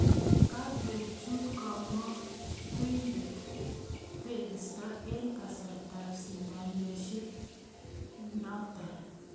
Koparuech komokotindo tegisto en kasrtab sindanisiet bnaton